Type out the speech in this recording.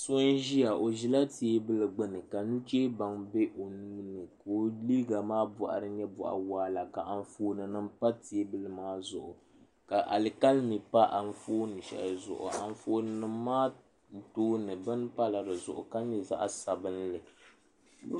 so n-ʒia o ʒila teebuli gbuni ka nucheebaŋa be o nuu ka o liiga maa bɔɣiri nyɛ bɔɣ' waɣila ka anfoonima pa teebuli maa zuɣu ka alikalimi pa anfooni shɛli zuɣu anfoonima maa tooni bini pala di zuɣu ka nyɛ zaɣ' sabinli